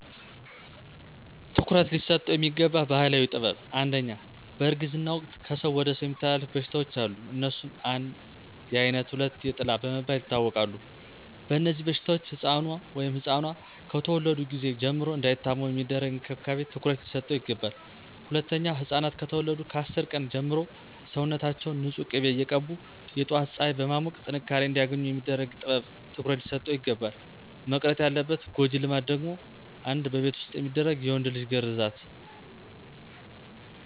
ትኩረት ሊሰጠው የሚገባ ባህላዊ ጥበብ #1, በእርግዝና ወቅት ከሰው ወደ ሰው የሚተላለፉ በሽታዎች አሉ. አነሱም: 1, የአይነት 2, የጥላ በመባል ይታወቃሉ. በእነዚህበሽታዎች ሕፃኑ(ኗ)ከተወለዱ ጊዜ ጀምሮ እንዳይታመሙ የሚደረግ እንክብካቤ ትኩረት ሊሰጠው ይገባል. #2, ሕፃናት ከተወለዱ ከ10 ቀን ጀምሮ ሰውነታችውን ንፁህ ቂቤ እየቀቡ የጧት ፀሐይ በማሞቅ ጥንካሬ አንዲያገኙ የሚደረግ ጥበብ ትኩረት ሊሰጠው ይግባላል. መቅረት ያለባት ጎጂ ልማድ ደግሞ: 1, በቤት ዉስጥ የሚደረግ የወንድ ልጅ ግርዛት